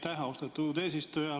Aitäh, austatud eesistuja!